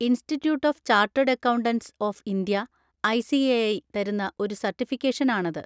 Institute of chartered accountants of India (I. C. A. I) തരുന്ന ഒരു certification ആണത്.